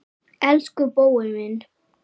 Elsku Bói minn.